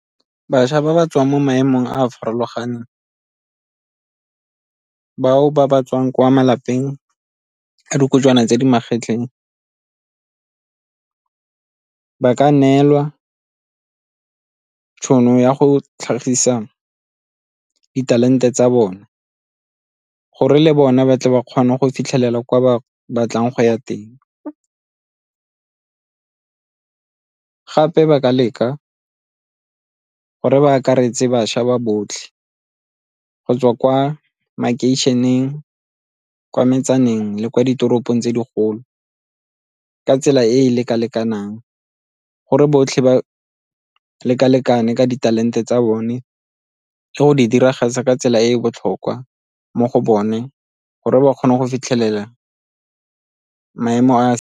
Bašwa ba ba tswang mo maemong a a farologaneng, bao ba ba tswang kwa malapeng a dikojwana tse di magetleng ka neelwa tšhono ya go tlhagisa ditalente tsa bone gore le bone ba tle ba kgone go fitlhelela kwa ba batlang go ya teng. Gape ba ka leka gore ba akaretse bašwa ba botlhe go tswa kwa makeišeneng, kwa metsaneng le kwa ditoropong tse digolo ka tsela e e leka-lekanang gore botlhe ba leka-lekane ka ditalente tsa bone le go di diragatsa ka tsela e e botlhokwa mo go bone gore ba kgone go fitlhelela maemo a.